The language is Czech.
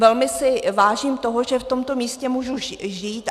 Velmi si vážím toho, že v tomto místě můžu žít.